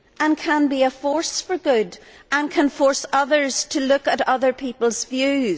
it can be a force for good and can force others to look at other people's views.